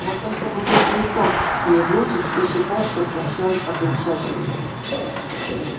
вот только букет цветов мне вручишь и считай что прощён окончательно